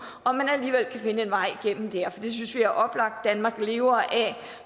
om man alligevel kan finde en vej igennem der det synes vi er oplagt danmark lever